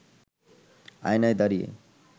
আয়নায় দাঁড়িয়ে